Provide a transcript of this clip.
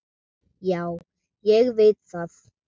Já, ég veit það.